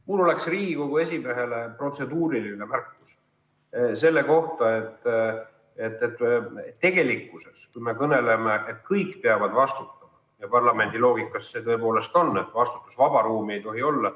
Mul on Riigikogu esimehele protseduuriline märkus selle kohta, et me kõneleme, et kõik peavad vastutama, ja parlamendi loogikas see tõepoolest nii on, et vastutusvaba ruumi ei tohi olla.